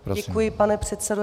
Děkuji, pane předsedo.